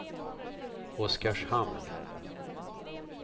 Oskarshamn